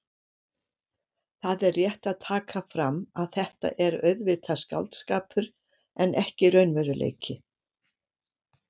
Það er rétt að taka fram að þetta er auðvitað skáldskapur en ekki raunveruleiki.